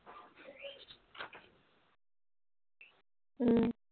হুম